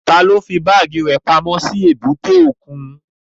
Taló fí báàgì rẹ̀ pamọ́ sí èbúté òkun?